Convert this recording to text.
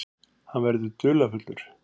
Hann verður dularfullur.